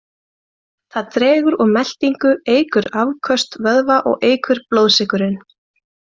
Það dregur úr meltingu, eykur afköst vöðva og eykur blóðsykurinn.